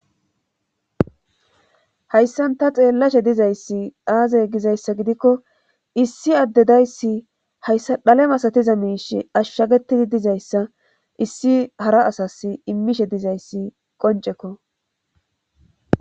hayssan ta xeellashe dizayssi aazay gizayssa gidikko issi addedayssi hayssa dhale masatiza miish ashshagetidi dizayssa issi hara asas immishe dizayssi qoncekko